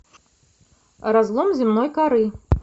разлом земной коры